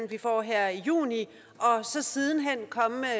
vi får her i juni og så siden hen komme med